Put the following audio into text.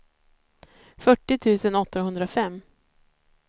fyrtio tusen åttahundrafem